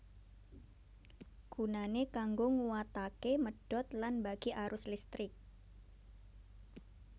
Gunane kanggo nguwatake medhot lan mbagi arus listrik